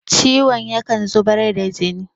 ciwon yakan zubar da jini